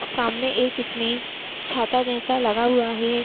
सामने एक इसमें छाता जैसा लगा हुआ है।